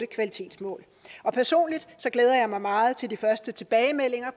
kvalitetsmål personligt glæder jeg mig meget til de første tilbagemeldinger